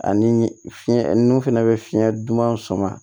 Ani fiɲɛ nunnu fɛnɛ bɛ fiɲɛ duman sama